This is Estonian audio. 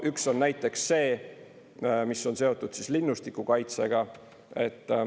Üks on näiteks see, mis on seotud linnustiku kaitsega.